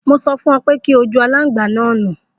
Mo sọ fún ọ pe kí ọ ju alangba ni nu.